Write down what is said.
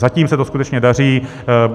Zatím se to skutečně daří.